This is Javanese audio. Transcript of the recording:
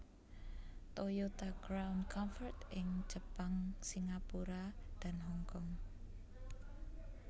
Toyota Crown Comfort ing Jepang Singapura dan Hong Kong